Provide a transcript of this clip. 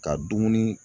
Ka dumuni